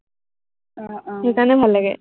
সেইকাৰনে ভাল লাগে।